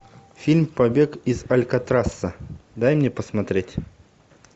фильм побег из алькатраса дай мне посмотреть